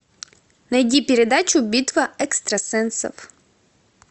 найди передачу битва экстрасенсов